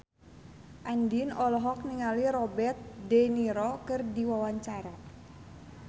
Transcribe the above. Andien olohok ningali Robert de Niro keur diwawancara